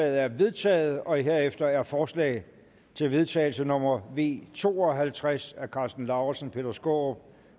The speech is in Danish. er vedtaget herefter er forslag til vedtagelse nummer v to og halvtreds af karsten lauritzen peter skaarup